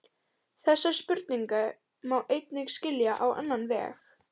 Þessa spurningu má einnig skilja á annan veg.